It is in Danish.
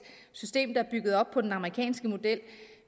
system der er bygget op på den amerikanske model